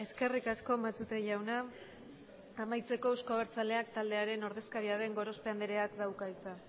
eskerrik asko matute jauna amaitzeko euzko abertzaleak taldearen ordezkaria den gorospe andreak dauka hitza